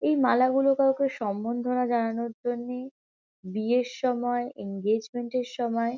এই মালা গুলো কাউকে সম্বর্ধনা জানানোর জন্যে বিয়ের সময় এঙ্গেজমেন্ট -এর সময়--